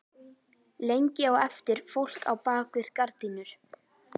Lengi á eftir fólk á bak við gardínur.